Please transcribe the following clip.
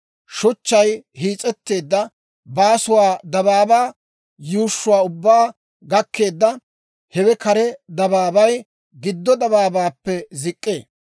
Shuchchay hiis'etteedda baasuu dabaabaa yuushshuwaa ubbaa gakkeedda; hewe kare dabaabay giddo dabaabaappe zik'k'ee.